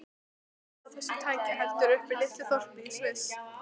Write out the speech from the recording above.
Framleiðsla á þessu tæki heldur uppi litlu þorpi í Sviss.